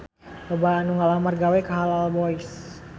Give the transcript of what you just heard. Loba anu ngalamar gawe ka Halal Boys